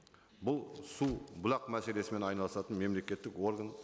бұл су бұлақ мәселесімен айналысатын мемлекеттік орган